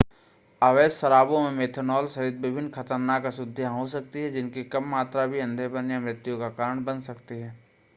अवैध शराबों में मेथनॉल सहित विभिन्न ख़तरनाक अशुद्धियां हो सकती हैं जिनकी कम मात्रा भी अंधेपन या मृत्यु का कारण बन सकती हैं